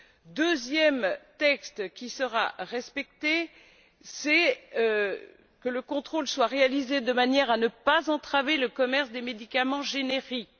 Le deuxième texte qui sera respecté exige que le contrôle soit réalisé de manière à ne pas entraver le commerce des médicaments génériques.